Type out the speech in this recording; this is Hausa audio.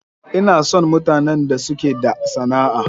Ina son mutanen da suke da sana'a.